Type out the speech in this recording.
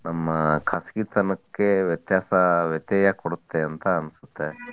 ನಮ್ಮ ಖಾಸಗಿತನಕ್ಕೆ ವ್ಯತ್ಯಾಸ ವ್ಯತೆಯ ಕೊಡುತ್ತೆ ಅಂತಾ ಅನ್ಸುತ್ತೆ.